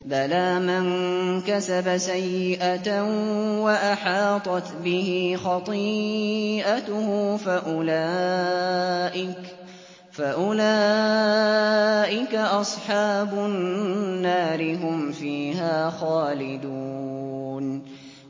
بَلَىٰ مَن كَسَبَ سَيِّئَةً وَأَحَاطَتْ بِهِ خَطِيئَتُهُ فَأُولَٰئِكَ أَصْحَابُ النَّارِ ۖ هُمْ فِيهَا خَالِدُونَ